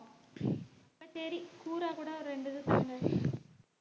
அப்ப சரி கூறா கூட ரெண்டு இது குடுங்க